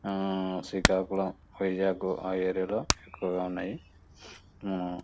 అహ్హ్ శ్రీకాకుళ వైజాగ్ ఆ ఏరియా లో ఎక్కువగా ఉన్నాయి.